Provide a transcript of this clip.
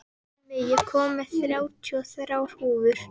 Hemmi, ég kom með þrjátíu og þrjár húfur!